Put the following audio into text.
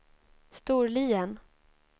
Storlien